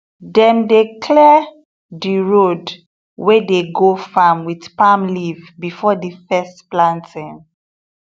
dem dey clear the road wey dey go farm with palm leaf before the first planting